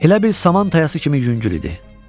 Elə bil saman tayası kimi yüngül idi.